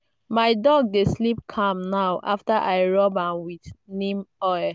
my dog dey sleep calm now after i rub am with neem oil.